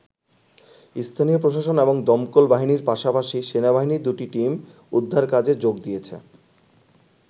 স্থানীয় প্রশাসন এবং দমকল বাহিনীর পাশাপাশি সেনাবাহিনীর দুটি টিম উদ্ধারকাজে যোগ দিয়েছে।